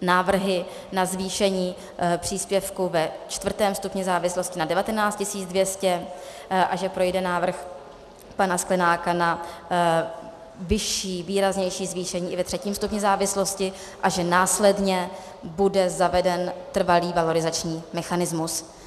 návrhy na zvýšení příspěvku ve čtvrtém stupni závislosti na 19 200 a že projde návrh pana Sklenáka na vyšší, výraznější zvýšení i ve třetím stupni závislosti a že následně bude zaveden trvalý valorizační mechanismus.